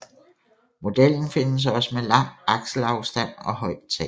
Modellen findes også med lang akselafstand og højt tag